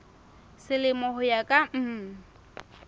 selemo ho ya ka mm